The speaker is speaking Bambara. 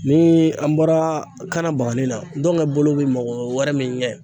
Ni an bɔra kanabagani na ntɔngɛ bolo bɛ mɔgɔ wɛrɛ min ɲɛ